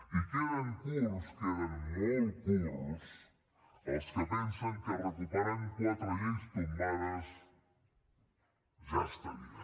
i queden curts queden molt curts els que pensen que recuperant quatre lleis tombades ja estaria